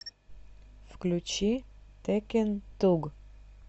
включи теккен туг